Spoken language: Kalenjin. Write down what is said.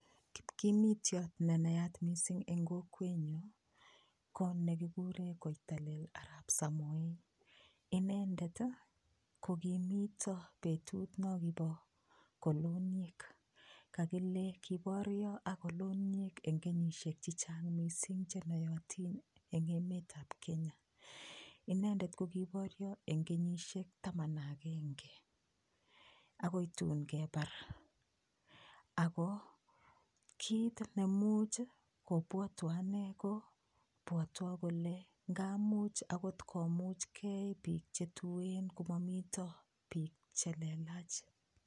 Kipkimitiot ne nayat mising eng kokwenyu ko negiguren Koitalel Arap Samoe. Inendet ko kimito betut nongibo koloniek. Kagile kiborio ak koloniek eng kenyisiek che chang mising che noyotin eng emeta Kenya. Inendetko kiborio eng kenyisiek taman ak agenge agoi tun kebar ago kit nemuch, kobwatwa anne kobwatwo kole ngamuch agot komuchkei biik chetuen komato biik che lelach.